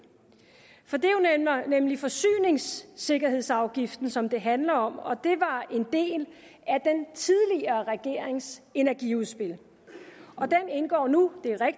for det er nemlig forsyningssikkerhedsafgiften som det handler om og det var en del af den tidligere regerings energiudspil og den indgår nu